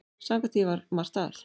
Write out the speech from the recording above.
Samkvæmt því var margt að.